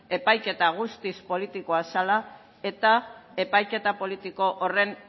epaiketa guztiz politikoa zela eta epaiketa politiko horren